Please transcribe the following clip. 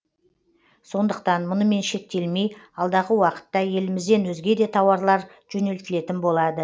сондықтан мұнымен шектелмей алдағы уақытта елімізден өзге де тауарлар жөнелтілетін болады